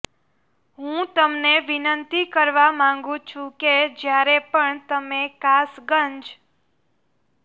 હું તમને વિનંતી કરવા માંગું છું કે જ્યારે પણ તમે કાસગંજ